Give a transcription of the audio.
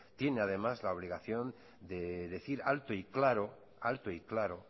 tiene además la obligación de decir alto y claro alto y claro